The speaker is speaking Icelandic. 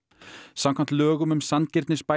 samkvæmt lögum um sanngirnisbætur